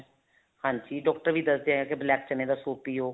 ਹਾਂਜੀ ਡਾਕਟਰ ਵੀ ਦੱਸਦੇ ਆ ਕੀ black ਚਨੇ ਦਾ soup ਪਿਓ